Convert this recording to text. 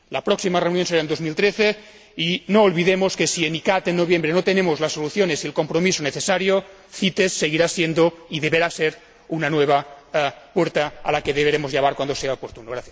La próxima reunión será en 2013 y no olvidemos que si en CICAA, en noviembre, no encontramos las soluciones y el compromiso necesarios, CITES seguirá siendo y deberá ser una nueva puerta a la que deberemos llamar cuando sea oportuno.